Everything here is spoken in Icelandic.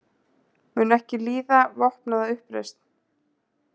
Mun ekki líða vopnaða uppreisn